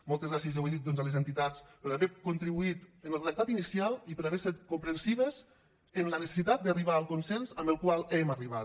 moltes gràcies ja ho he dit a les entitats per haver contribuït en el redactat inicial i per haver set comprensives en la necessitat d’arribar al consens al qual hem arribat